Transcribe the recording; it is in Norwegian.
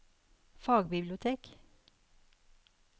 fagbibliotek